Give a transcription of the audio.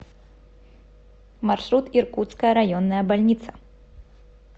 маршрут иркутская районная больница